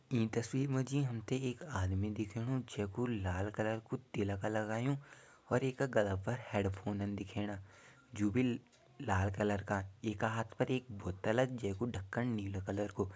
ईं तस्वीर मा जी हम ते एक आदमी दिखेणु जैकु लाल कलर कु तिलक लगायुं और येका गला पर हैडफ़ोनन दिखेणा जु भी लाल कलर का येका हाथ पर एक बोतल जैकु ढकन नीलू कलर कु।